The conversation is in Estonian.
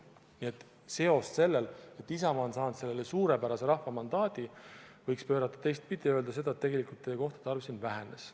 Nii et selle seose, et Isamaa on saanud sellele suurepärase rahva mandaadi, võiks pöörata teistpidi ja öelda, et tegelikult teie kohtade arv siin vähenes.